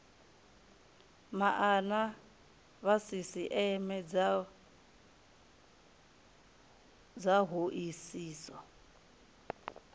maana vha sisieme dza hoisiso